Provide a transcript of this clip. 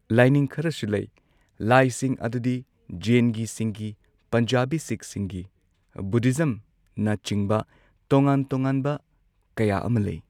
ꯂꯥꯏꯅꯤꯡ ꯈꯔꯁꯨ ꯂꯩ ꯂꯥꯏꯁꯤꯡ ꯑꯗꯨꯗꯤ ꯖꯦꯟꯒꯤꯁꯤꯡꯒꯤ ꯄꯟꯖꯥꯕꯤ ꯁꯤꯛ ꯁꯤꯡꯒꯤ ꯕꯨꯙꯤꯖꯝꯅ ꯆꯤꯡꯕ ꯇꯣꯉꯥꯟ ꯇꯣꯉꯥꯟꯕ ꯀꯌꯥ ꯑꯃ ꯂꯩ꯫